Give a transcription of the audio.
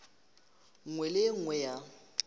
nngwe le e nngwe ya